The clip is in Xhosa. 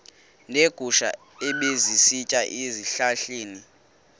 neegusha ebezisitya ezihlahleni